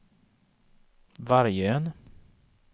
Vargön